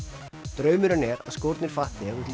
draumurinn er að skórnir fatti þegar þú til